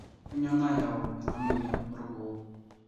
Kainyioo nayau ena moyian orgoo?